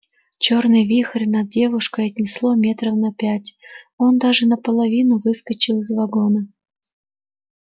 чёрный вихрь над девушкой отнесло метров на пять он даже наполовину выскочил из вагона